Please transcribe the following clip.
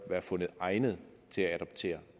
være fundet egnet til at adoptere